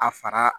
A fara